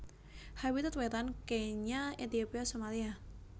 Habitat Wétan Kenya Ethiopia Somalia